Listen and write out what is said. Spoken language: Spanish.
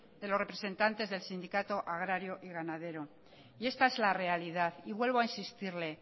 de los representantes del sindicato agrario y ganadero y esta es la realidad y vuelvo a insistirle